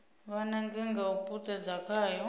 vha nange nga u puṱedza khayo